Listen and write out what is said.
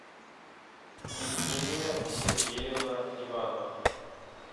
евгения сергеевна иванова